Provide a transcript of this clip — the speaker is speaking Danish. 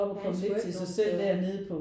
Han skulle ikke nogen steder